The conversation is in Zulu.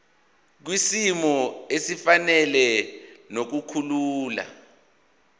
kwisimo esifanele nokukhula